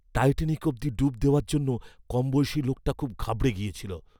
Titanic অবধি ডুব দেওয়ার জন্য কমবয়সী লোকটা খুব ঘাবড়ে গেছিল।